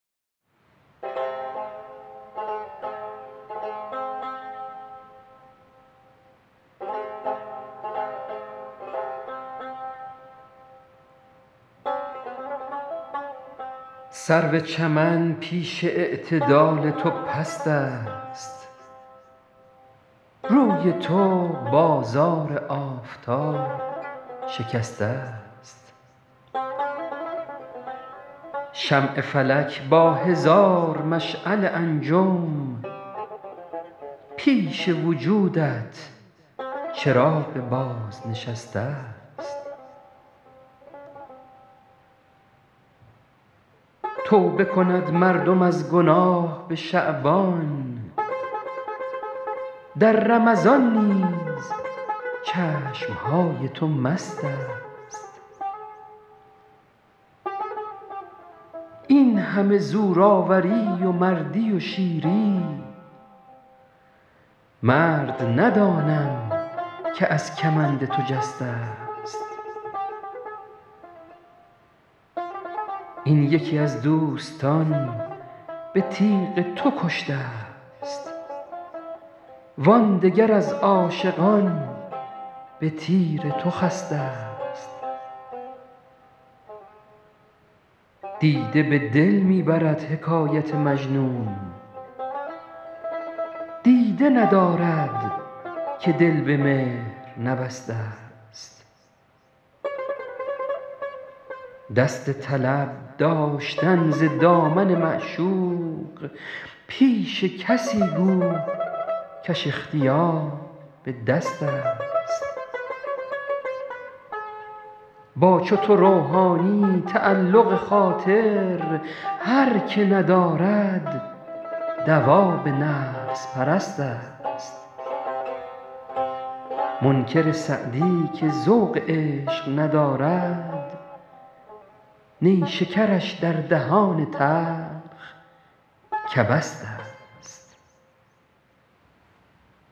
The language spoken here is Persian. سرو چمن پیش اعتدال تو پست است روی تو بازار آفتاب شکسته ست شمع فلک با هزار مشعل انجم پیش وجودت چراغ بازنشسته ست توبه کند مردم از گناه به شعبان در رمضان نیز چشم های تو مست است این همه زورآوری و مردی و شیری مرد ندانم که از کمند تو جسته ست این یکی از دوستان به تیغ تو کشته ست وان دگر از عاشقان به تیر تو خسته ست دیده به دل می برد حکایت مجنون دیده ندارد که دل به مهر نبسته ست دست طلب داشتن ز دامن معشوق پیش کسی گو کش اختیار به دست است با چو تو روحانیی تعلق خاطر هر که ندارد دواب نفس پرست است منکر سعدی که ذوق عشق ندارد نیشکرش در دهان تلخ کبست است